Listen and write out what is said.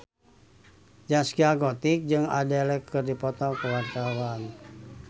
Zaskia Gotik jeung Adele keur dipoto ku wartawan